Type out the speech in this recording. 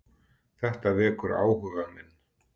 Þetta vekur áhuga minn.